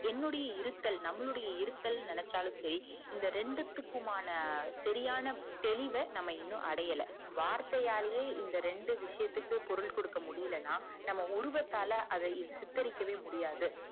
என்னுடைய இருத்தல் நம்முடைய இருத்தல்னு நெனச்சாலும் செரி இந்த ரெண்டுத்துக்கும் மான சரியான தெளிவா நம்ம இன்னும் அடையள வர்த்தயாலையே இந்த ரெண்டு விசயத்துக்கும் குரல் கொடுக்க முடியலனா நம்ம உருவத்தால சித்தரிக்க முடியாது